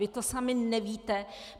Vy to sami nevíte.